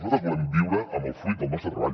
nosaltres volem viure amb el fruit del nostre treball